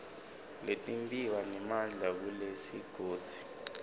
letimbiwa nemandla kulesigodzi